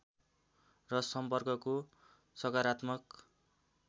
र सम्पर्कको सकारात्मक